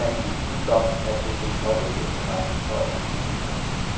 Der er ingen tvivl om, at det vil påvirke interessen for at investere.